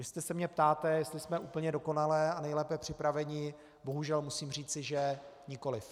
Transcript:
Jestli se mě ptáte, jestli jsme úplně dokonale a nejlépe připraveni, bohužel musím říci, že nikoliv.